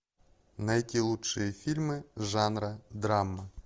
найти лучшие фильмы жанра драма